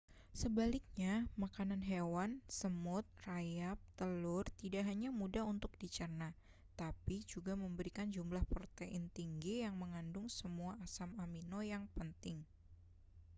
sebaliknya makanan hewan semut rayap telur tidak hanya mudah untuk dicerna tapi juga memberikan jumlah protein tinggi yang mengandung semua asam amino yang penting